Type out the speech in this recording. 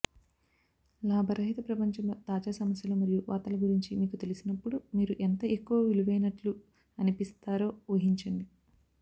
లాభరహిత ప్రపంచంలో తాజా సమస్యలు మరియు వార్తల గురించి మీకు తెలిసినప్పుడు మీరు ఎంత ఎక్కువ విలువైనట్లు అనిపిస్తారో ఊహించండి